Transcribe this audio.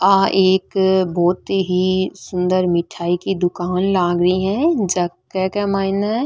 आ एक बहोत ही सुन्दर मिठाई की दुकान लाग रही है जेके माइन --